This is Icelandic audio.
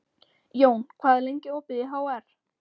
Jón, hvað er lengi opið í HR?